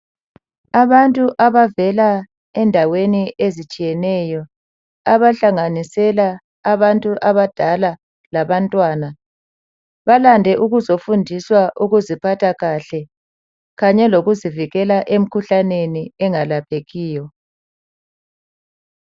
Abantu abavela endaweni ezitshiyeneyo, abahlanganisela abantu abadala labantwana, balande ukuzofundiswa ukuziphatha kahle, kanye lokuzivikela emikhuhlaneni engelaphekiyo.